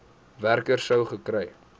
werker sou gekry